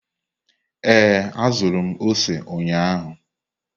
Ee, azụrụ m ose ụnyahụ.